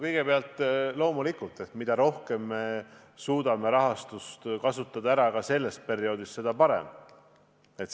Kõigepealt, loomulikult, mida rohkem me suudame ära kasutada käesoleva perioodi raha, seda parem.